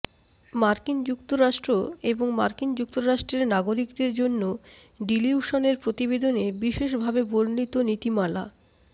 মার্কিন যুক্তরাষ্ট্র এবং মার্কিন যুক্তরাষ্ট্রের নাগরিকদের জন্য ডিলিউশনের প্রতিবেদনে বিশেষভাবে বর্ণিত নীতিমালা